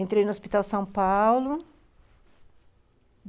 Entrei no Hospital São Paulo...